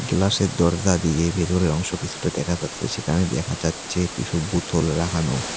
গ্লাসের দরজা দিয়ে ভেতরের অংশ কিছুটা দেখা যাচ্ছে সেখানে দেখা যাচ্ছে কিছু বোতল রাখানো।